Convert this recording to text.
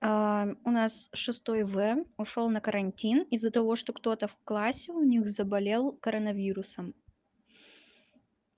у нас шестой-в ушёл на карантин из-за того что кто-то в классе у них заболел коронавирусом